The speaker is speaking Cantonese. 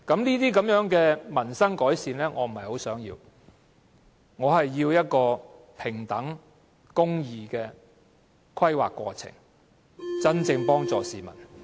這種改善民生的措施，我並不想要，我想要的是一個平等和公義的規劃過程，這樣才能真正幫助市民。